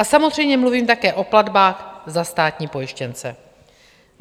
A samozřejmě mluvím také o platbách za státní pojištěnce.